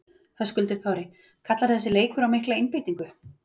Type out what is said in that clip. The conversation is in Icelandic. Höskuldur Kári: Kallar þessi leikur á mikla einbeitingu?